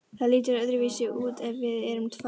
Það lítur öðruvísi út ef við erum tvær.